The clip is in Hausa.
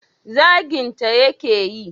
zaginta ya ke yi?